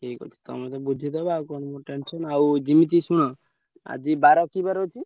ଠିକ ଅଛି। ତମେତ ବୁଝିଦବ ଆଉ କଣ ମୋ tension ଆଉ ଯିମିତି ଶୁଣ ଆଜି ବାର କି ବାର ଅଛି?